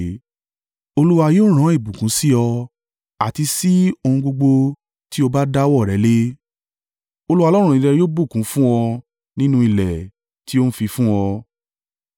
Olúwa yóò rán ìbùkún sí ọ àti sí ohun gbogbo tí o bá dáwọ́ rẹ lé. Olúwa Ọlọ́run rẹ yóò bùkún un fún ọ nínú ilẹ̀ tí ó ń fi fún ọ.